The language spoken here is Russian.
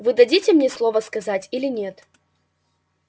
вы дадите мне слово сказать или нет